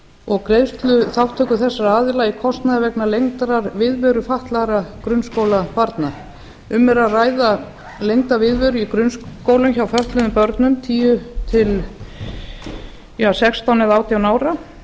og greiðsluþátttöku þessara aðila í kostnaði vegna lengdrar viðveru fatlaðra grunnskólabarna um er að ræða lengda viðveru í grunnskólum hjá fötluðum börnum tíu til sextán eða átján ára